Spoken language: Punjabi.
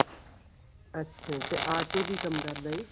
ਅੱਛਾ ਤੇ ਆਟੋ ਕੀ ਕੰਮ ਕਰਦਾ ਏ